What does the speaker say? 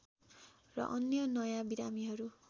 र अन्य नयाँ बिमारीहरू